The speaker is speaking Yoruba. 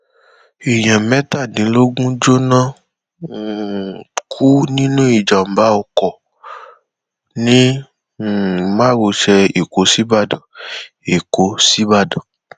èèyàn mẹtàdínlógún jóná um kú nínú ìjàmbá ọkọ ní um márosẹ èkó sìbàdàn èkó sìbàdàn